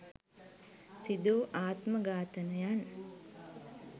සිදුවූ ආත්ම ඝාතනයන්